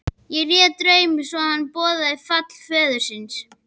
Ég réð drauminn svo að hann boðaði fall föður þíns.